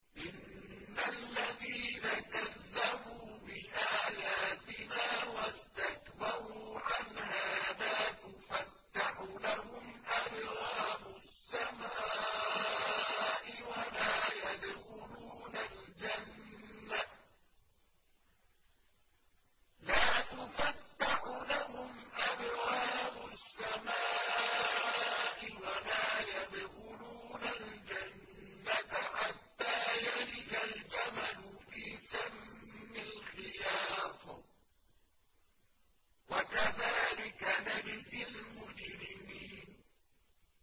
إِنَّ الَّذِينَ كَذَّبُوا بِآيَاتِنَا وَاسْتَكْبَرُوا عَنْهَا لَا تُفَتَّحُ لَهُمْ أَبْوَابُ السَّمَاءِ وَلَا يَدْخُلُونَ الْجَنَّةَ حَتَّىٰ يَلِجَ الْجَمَلُ فِي سَمِّ الْخِيَاطِ ۚ وَكَذَٰلِكَ نَجْزِي الْمُجْرِمِينَ